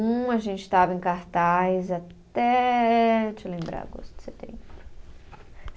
Um, a gente estava em cartaz até, deixa eu lembrar, agosto, setembro.